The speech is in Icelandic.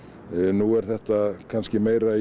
nú er þetta kannski meira í